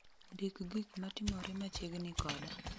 Ndik gik matimore machiegni koda